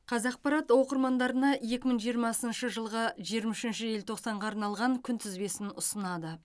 қазақпарат оқырмандарына екі мың жиырмасыншы жылғы жиырма үшінші желтоқсанға арналған күнтізбесін ұсынады